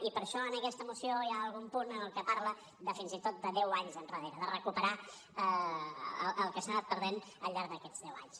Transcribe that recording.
i per això en aquesta moció hi ha algun punt que parla de fins i tot deu anys enrere de recuperar el que s’ha anat perdent al llarg d’aquests deu anys